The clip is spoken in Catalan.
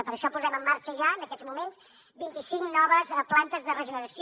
per això posem en marxa ja en aquests moments vint i cinc noves plantes de regeneració